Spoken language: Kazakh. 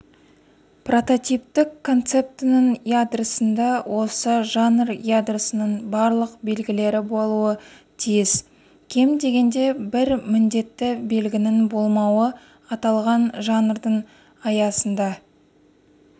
прототиптік концептінің ядросында осы жанр ядросының барлық белгілері болуы тиіс кем дегенде бір міндетті белгінің болмауы аталған жанрдың аясында